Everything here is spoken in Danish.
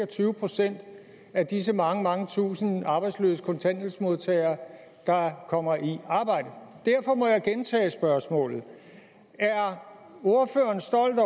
tyve procent af disse mange mange tusinde arbejdsløse kontanthjælpsmodtagere der kommer i arbejde derfor må jeg gentage spørgsmålet er ordføreren stolt